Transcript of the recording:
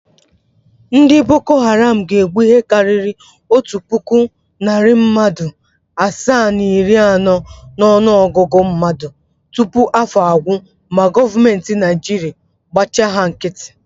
Ndị Boko Haram ga-egbu ihe karịrị otu puku, narị mmadụ asaa na iri anọ n’ọnụogụgụ mmadụ tupu afọ agwụ ma goomentị Naịjirịa gbachi ha nkịtị.